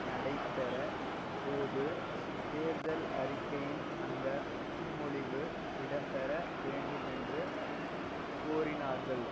நடைபெற போது தேர்தல் அறிக்கையின் அந்த முன்மொழிவு இடம்பெற வேண்டுமென்று கோரினார்கள்